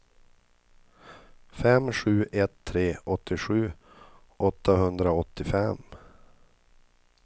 fem sju ett tre åttiosju åttahundraåttiofem